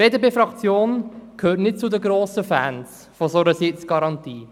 Die BDPFraktion gehört nicht zu den grossen Fans einer solchen Sitzgarantie.